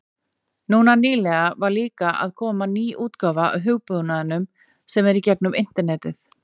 Núna nýlega var líka að koma ný útgáfa af hugbúnaðinum sem er í gegnum internetið.